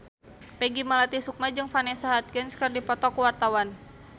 Peggy Melati Sukma jeung Vanessa Hudgens keur dipoto ku wartawan